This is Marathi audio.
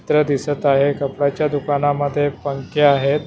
चित्र दिसत आहे कपड्याच्या दुकानामध्ये पंखे आहेत.